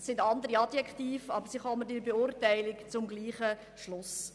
Es sind andere Adjektive, aber sie kommen in der Beurteilung zum selben Schluss.